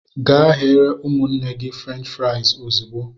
Gee ghetere ụmụnne gị fruench frais ozigbo!!!!!